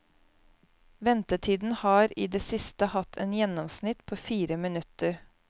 Ventetiden har i det siste hatt et gjennomsnitt på fire minutter.